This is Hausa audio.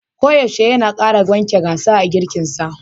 Koyaushe yana kara waken gasa a girkinsa.